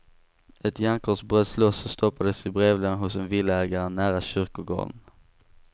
Ett järnkors bröts loss och stoppades i brevlådan hos en villaägare nära kyrkogården.